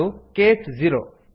ಇದು case zero